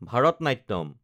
Bharatanatyam